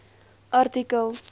artikel